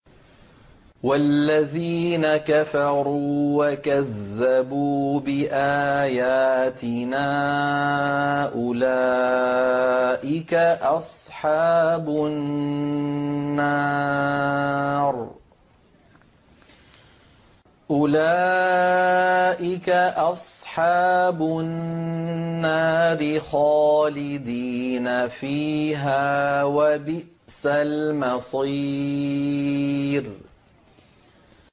وَالَّذِينَ كَفَرُوا وَكَذَّبُوا بِآيَاتِنَا أُولَٰئِكَ أَصْحَابُ النَّارِ خَالِدِينَ فِيهَا ۖ وَبِئْسَ الْمَصِيرُ